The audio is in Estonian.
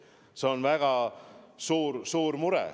See on väga suur mure.